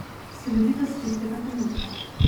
Silovitost tistega trenutka.